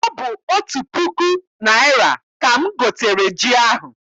Ọ bụ otu puku naịra ka m gotere ji ahụ.